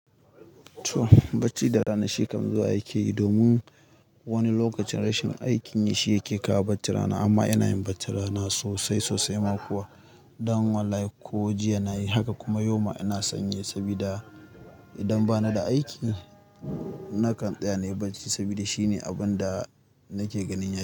To bacci da rana shi kam zuwa yake yi domin wani lokacin rashin aikin yi shi yake kawo bacci rana amma ina yin bacci rana sosai sosai ma kuwa. Dan wallahi ko jiya nayi haka kuma yau ma ina son yi sabida idan bana da aiki nakan tsaya nayi bacci saboda shine abun da nake ganin yana.